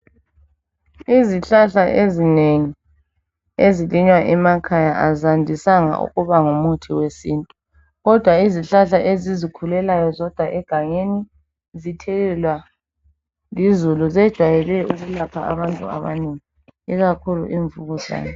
Izihlahla ezinengi ezilinywa emakhaya azandisanga ukuba ngumuthi wesintu, kodwa izihlahla ezizikhulelayo zodwa egangeni zithelelwa lizulu zejwayele ukulapha abantu abanengi ikakhulu imvukuzane.